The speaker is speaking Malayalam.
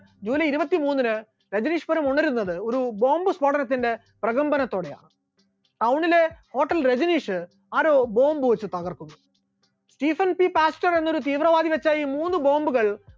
july ഇരുപത്തിമൂന്നിന് രജനീഷ്‌പുരം ഉണരുന്നത് ഒരു bomb സ്ഫോടനത്തിന്റെ പ്രകമ്പനത്തോടെയാണ്, town ലെ hotel രജനീഷ് ആരോ bomb വെച്ചു തകർത്തു, സീസൺ സി പാസ്റ്റർ എന്നൊരു തീവ്രവാദി വെച്ച ഈ മൂന്ന് bomb കൾ